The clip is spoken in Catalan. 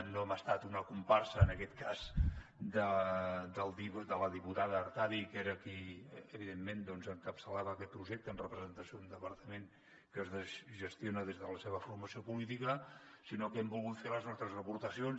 no hem estat una comparsa en aquest cas de la diputada artadi que era qui evidentment encapçalava aquest projecte en representació d’un departament que es gestiona des de la seva formació política sinó que hi hem volgut fer les nostres aportacions